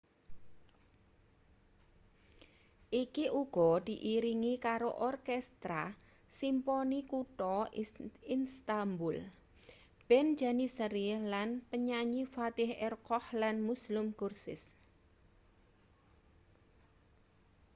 iki uga diiringi karo orkestra simponi kutha istanbul band janissary lan penyanyi fatih erkoç lan müslüm gürses